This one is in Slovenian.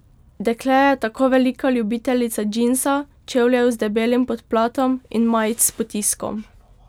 Dekle je tako velika ljubiteljica džinsa, čevljev z debelim podplatom in majic s potiskom.